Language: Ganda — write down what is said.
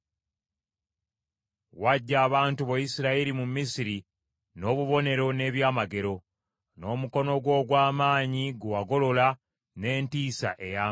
Waggya abantu bo Isirayiri mu Misiri n’obubonero n’eby’amagero, n’omukono gwo ogw’amaanyi gwe wagolola n’entiisa ey’amaanyi.